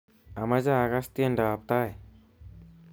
Amache akass tiendoab tai